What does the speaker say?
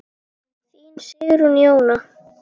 Þín Sigrún Jóna.